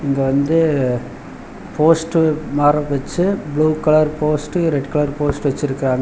இங்க வந்து போஸ்டர் மார வச்சு blue colour post red colour post வச்சிருக்காங்க.